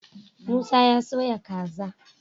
Musa ya soya kaza